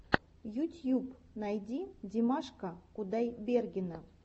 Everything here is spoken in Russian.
ютьюб найди димаша кудайбергена